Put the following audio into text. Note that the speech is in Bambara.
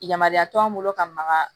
Yamaruya t'an bolo ka maga